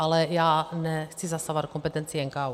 Ale já nechci zasahovat do kompetencí NKÚ.